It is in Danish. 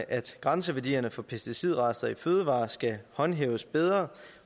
at grænseværdierne for pesticidrester i fødevarer skal håndhæves bedre